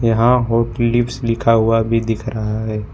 यहां hot lips लिखा हुआ भी दिख रहा है।